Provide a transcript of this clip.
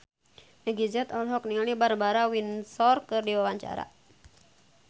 Meggie Z olohok ningali Barbara Windsor keur diwawancara